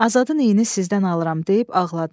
Azadın iyini sizdən alıram deyib ağladı.